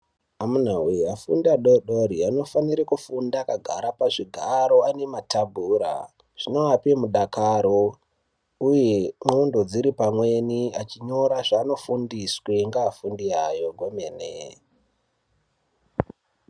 Amunawe afundi adodori anofanire kufunda akagara pazvigaro pane matebhura. Zvinoape mudakaro uye ndhlondo dziri pamwepo. Achinyora zvaanofundiswa ngevafundisi vavo kwemene.